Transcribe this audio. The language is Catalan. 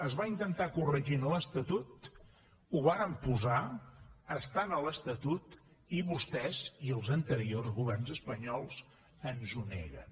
es va intentar corregir en l’estatut ho vàrem posar està a l’estatut i vostès i els anteriors governs espanyols ens ho neguen